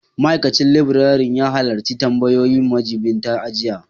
Ma'aikacin laburare ya halarci tambayoyin majiɓinta jiya